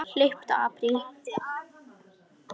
Hlauptu apríl.